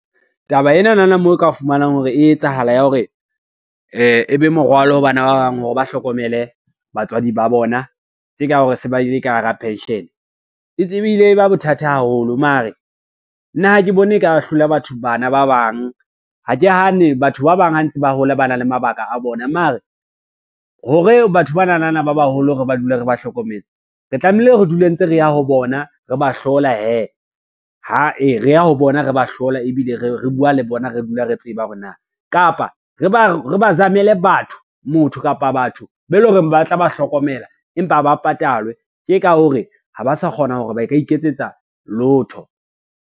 Taba enana moo o ka fumanang hore e etsahala ya hore e be morwalo ho bana ba bang hore ba hlokomele batswadi ba bona tje ka hore se ba le ka hara pension. E tsebile e ba bothata haholo mare nna ha ke bone e ka hlola bana ba bang, ha ke hane batho ba bang ha ntse ba hola ba na le mabaka a bona mare, hore batho bananana ba baholo re ba dule re ba hlokometse, re tlamehile re dule ntse re ya ho bona re ba hlola hee, re ya ho bona re ba hlola ebile re bua le bona, re dula re tseba hore na kapa re ba zamele batho, motho kapa batho ba e lo reng ba tla ba hlokomela empa ba patalwe tje ka hore ha ba sa kgona hore ba ka iketsetsa lotho.